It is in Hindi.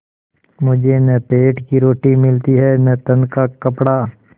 मुझे न पेट की रोटी मिलती है न तन का कपड़ा